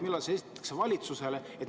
Millal see esitatakse valitsusele?